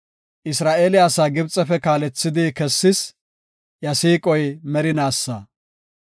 Isra7eele asaa Gibxefe kaalethidi kessis; iya siiqoy merinaasa.